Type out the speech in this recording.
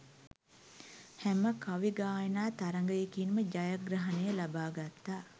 හැම කවි ගායනා තරගයකින්ම ජයග්‍රහණය ලබා ගත්තා